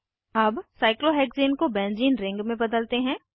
अब साइक्लोहेक्सेन को benzene ring में बदलते हैं